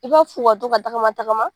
I b'a f'u ka to ka tagama tagama.